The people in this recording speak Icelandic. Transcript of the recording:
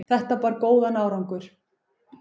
þetta bar góðan árangur